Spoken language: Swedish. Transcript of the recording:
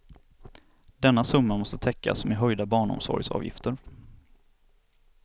Denna summa måste täckas med höjda barnomsorgsavgifter.